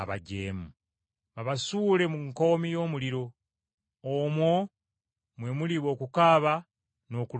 babasuule mu nkoomi y’omuliro. Omwo mwe muliba okukaaba n’okuluma obujiji.